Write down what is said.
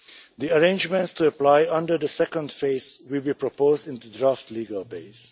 The arrangements to apply under the second phase will be proposed in the draft legal base.